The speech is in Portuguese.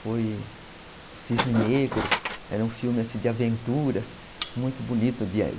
Foi o Cisne Negro, era um filme assim de aventuras, muito bonito.